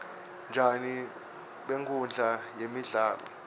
tjani benkhundla yemdlalo